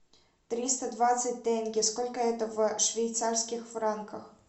триста двадцать тенге сколько это в швейцарских франках